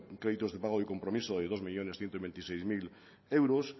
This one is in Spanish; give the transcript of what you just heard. créditos de pago y compromiso de dos millónes ciento veintiséis mil euros